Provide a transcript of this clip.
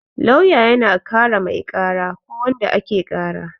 Lauya yana kare mai kara ko wanda ake kara